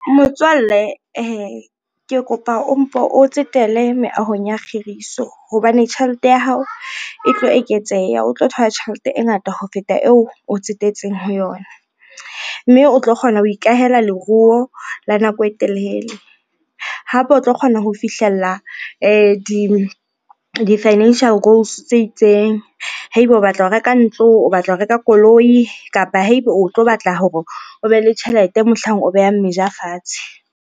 Motswalle ke kopa o mpo o tsetele meahong ya kgiriso, hobane tjhelete ya hao e tlo eketseha, o tlo thola tjhelete e ngata ho feta eo o tsetetseng ho yona, mme o tlo kgona ho ikahela leruo la nako e telele. Hape o tlo kgona ho fihlella di-financial goals tse itseng. Haeba o batla ho reka ntlo, o batla ho reka koloi kapa haeba o tlo batla hore o be le tjhelete mohlang o beha meja fatshe.